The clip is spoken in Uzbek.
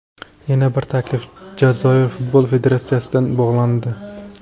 Yana bir taklif Jazoir Futbol Federatsiyasidan bo‘lgandi.